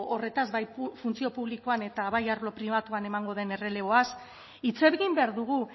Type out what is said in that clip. horretaz bai funtzio publikoan eta bai arlo pribatuan emango den erreleboaz hitz egin behar dugu